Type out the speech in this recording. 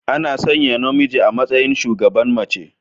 Ana sanya namiji a matsayin shugaban mace.